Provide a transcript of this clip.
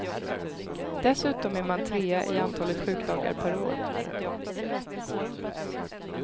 Dessutom är man trea i antalet sjukdagar per år.